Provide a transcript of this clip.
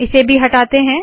इसे भी हटाते है